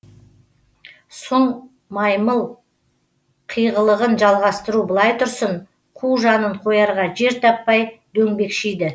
сұң маймыл қиғылығын жалғастыру былай тұрсын қу жанын қоярға жер таппай дөңбекшиді